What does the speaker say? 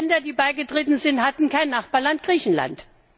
Die anderen Länder, die beigetreten sind, hatten kein Nachbarland Griechenland.